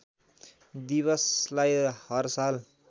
दिवसलाई हर साल